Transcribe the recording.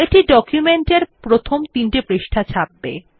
এটি ডকুমেন্টের প্রথম তিনটি পৃষ্টা ছাপবে